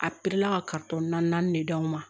A ka naani de d'anw ma